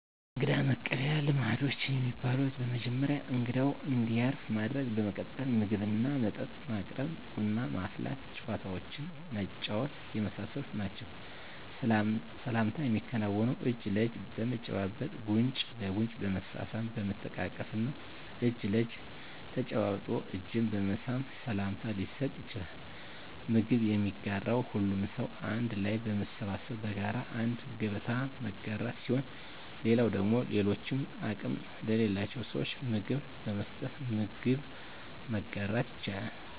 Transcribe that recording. የእንግዳ መቀበያ ልማዶች የሚባሉት በመጀመሪያ እንግዳው እንዲያርፍ ማድረግ በመቀጠል ምግብና መጠጥ ማቅረብ ቡና ማፍላት ጨዋታዎችን መጫወት የመሳሰሉት ናቸዉ። ሰላምታ የሚከናወነው እጅ ለእጅ በመጨባበጥ ጉንጭ ለጉንጭ በመሳሳም በመተቃቀፍ እና እጅ ለእጅ ተጨባብጦ እጅን በመሳም ሰላምታ ሊሰጥ ይቻላል። ምግብ የሚጋራው ሁሉም ሰው አንድ ላይ በመሰብሰብ በጋራ አንድ ገበታ መጋራት ሲሆን ሌላው ደግሞ ለሌሎች አቅም ለሌላቸው ስዎች ምግብ በመስጠት ምግብ መጋራት ይቻላል።